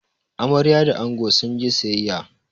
Amarya da ango sun je sayayya